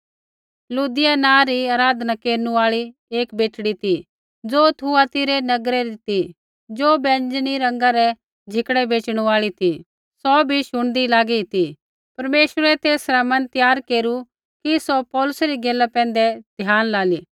लुदिया नाँ री आराधना केरनु आल़ी एक बेटड़ी ती ज़ो थुआतीरा नगरै ती ज़ो बैंजनी रंगा रै कपड़ै बेच़णू आल़ी ती सौ बी शुणदी लागी ती परमेश्वरै तेसरा मन केरु तयार कि सौ पौलुसै री गैला पैंधै ध्यान लाली